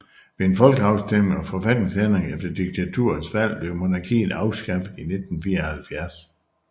Ved en folkeafstemning og forfatningsændring efter diktaturets fald blev monarkiet afskaffet i 1974